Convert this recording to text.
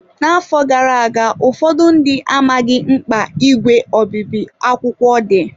N'afọ gara aga, ụfọdụ ndị amaghị mkpa ígwè obibi akwụkwọ dị.